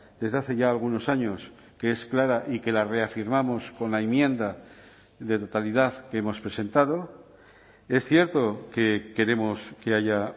desde hace ya algunos años que es clara y que la reafirmamos con la enmienda de totalidad que hemos presentado es cierto que queremos que haya